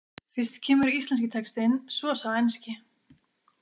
Fyrst kemur íslenski textinn, svo sá enski.